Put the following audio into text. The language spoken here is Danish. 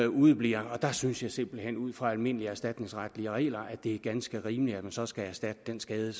udebliver der synes jeg simpelt hen ud fra almindelige erstatningsretlige regler er ganske rimeligt at man så skal erstatte den skade